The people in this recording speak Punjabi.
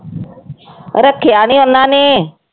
ਰੱਖਿਆ ਨੀ ਉਹਨਾਂ ਨੇ।